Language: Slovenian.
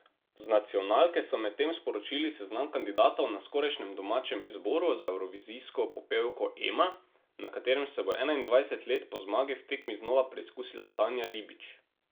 Z nacionalke so medtem sporočili seznam kandidatov na skorajšnjem domačem izboru za evrovizijsko popevko Ema, na katerem se bo enaindvajset let po zmagi v tekmi znova preizkusila Tanja Ribič.